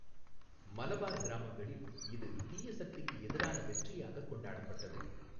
மலபார் கிராமங்களில், இது தீயசக்திக்கு எதிரான வெற்றியாக கொண்டாடப்பட்டது.